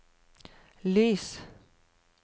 lys